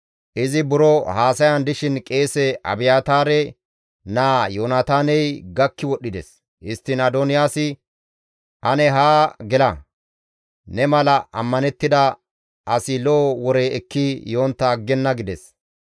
Izi buro haasayan dishin qeese Abiyaataare naa Yoonataaney gakki wodhdhides. Histtiin Adoniyaasi, «Ane haa gela; ne mala ammanettida asi lo7o wore ekki yontta aggenna» gides.